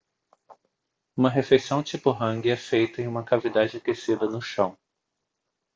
uma refeição tipo hangi é feita em uma cavidade aquecida no chão